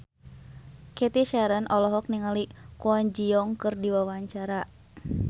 Cathy Sharon olohok ningali Kwon Ji Yong keur diwawancara